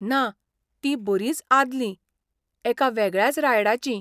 ना, तीं बरींच आदलीं, एका वेगळ्याच रायडाचीं.